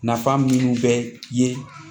Nafa minnu bɛ ye